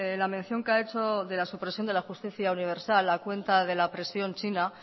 la mención que ha hecho de la supresión de justicia universal a cuenta de la presión china